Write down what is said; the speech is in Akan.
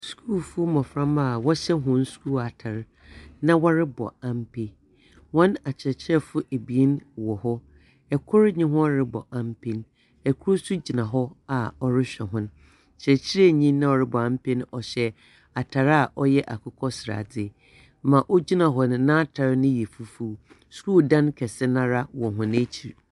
Skulfo mmɔframma a wɔhyɛ hɔn skul atar, na wɔrebɔ ampe. Hɔn akyerɛkyerɛfoɔ ebien wɔ hɔ. Kor nye hɔn rebɔ ampe no. kor nso gyina hɔ a ɔrehwɛ hɔn. Ɔkyerɛkyerɛni no a ɔrebɔ ampe no, ɔhyɛ atar a ɔyɛ akokɔ sradze. Ma ogyina hɔ no n'atar no yɛ fufuw. Skul dan kɛse no ara wɔ hɔn ekyir.